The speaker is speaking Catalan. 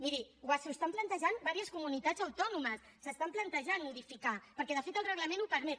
miri s’ho estan plantejant diverses comunitats autònomes s’estan plantejant modificar lo perquè de fet el reglament ho permet